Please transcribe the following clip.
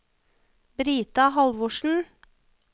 Brita Halvorsen